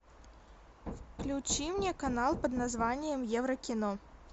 включи мне канал под названием евро кино